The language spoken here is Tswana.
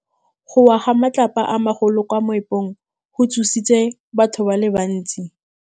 Go wa ga matlapa a magolo ko moepong go tshositse batho ba le bantsi.